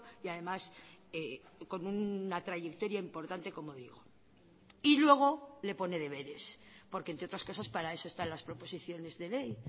y además con una trayectoria importante como digo y luego le pone deberes porque entre otras cosas para eso están las proposiciones de ley